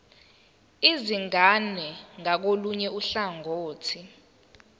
izingane ngakolunye uhlangothi